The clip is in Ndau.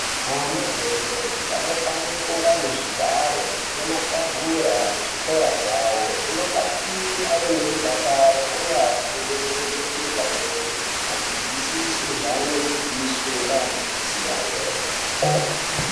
Ana adodori anofanira kunge ane zvigaro nematebhura muzvikora zvavo, zvinodetsera ave nemudakaro uye afunde ndxondo dziri pamwe achizwisise zvaanodzidziswe ngeadzidzisi iwayo.